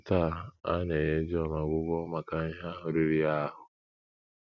Taa, a na - enye John ọgwụgwọ maka ihe ahụ riri ya ahụ́.